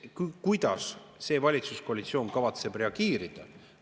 Kuidas see valitsuskoalitsioon kavatseb reageerida?